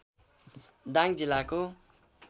दाङ जिल्लाको